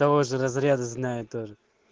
того же разряды знаю тоже